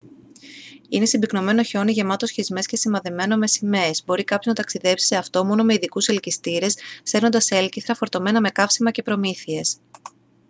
είναι συμπυκνωμένο χιόνι γεμάτο σχισμές και σημαδεμένο με σημαίες μπορεί κάποιος να ταξιδέψει σε αυτό μόνο με ειδικούς ελκυστήρες σέρνοντας έλκηθρα φορτωμένα με καύσιμα και προμήθειες